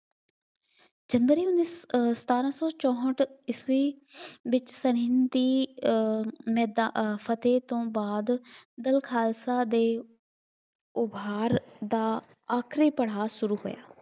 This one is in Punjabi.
ਜਨਵਰੀ ਉੱਨੀ ਸੌ ਅਹ ਸਤਾਰਾ ਸੌ ਚੌਂਹਠ ਈਸਵੀ ਵਿੱਚ ਸਰਹਿੰਦ ਦੀ ਅਹ ਮੈਦਾ ਅਹ ਫਤਹਿ ਤੋਂ ਬਾਅਦ ਦਲ ਖਾਲਸਾ ਦੇ ਉਭਾਰ ਦਾ ਆਖਰੀ ਪੜਾਅ ਸ਼ੁਰੂ ਹੋਇਆ।